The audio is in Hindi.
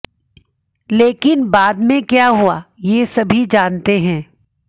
लेकिन बाद में क्या हुआ ये सभी जानते हैं